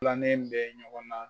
Filanan in bɛ ɲɔgɔn na